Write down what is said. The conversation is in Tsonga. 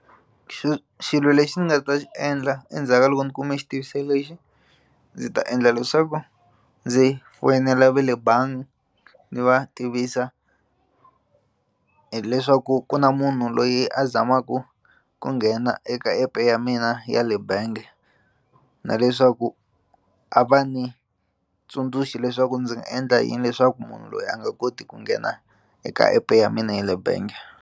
xilo lexi ndzi nga ta xi endla endzhaku ka loko ni kume xitiviso lexi ndzi ta endla leswaku ndzi foyinela va le bangi ndzi va tivisa hileswaku ku na munhu loyi a zamaka ku nghena eka app ya mina ya le bangi na leswaku a va ni tsundzuxi leswaku ndzi nga endla yini leswaku munhu loyi a nga koti ku nghena eka app ya mina ya le bangi.